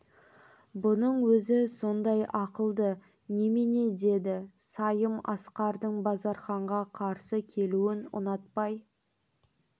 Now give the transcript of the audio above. бұның өзі сондай ақылды неме деді сайым асқардын базарханға қарсы келуін ұнатпай